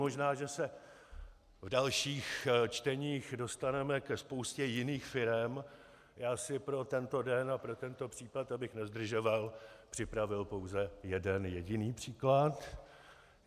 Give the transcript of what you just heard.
Možná, že se v dalších čteních dostaneme ke spoustě jiných firem, já si pro tento den a pro tento případ, abych nezdržoval, připravil pouze jeden jediný příklad.